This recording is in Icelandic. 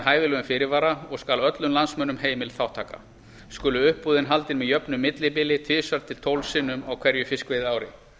hæfilegum fyrirvara og skal öllum landsmönnum heimil þátttaka skulu uppboð haldin með jöfnu millibili tvisvar til tólf sinnum á hverju fiskveiðiári